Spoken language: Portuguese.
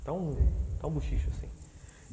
Está está um buchicho assim, sei.